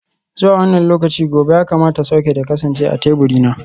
Zuwa wannan lokaci gobe ya kamata soket ya kasance a teburina.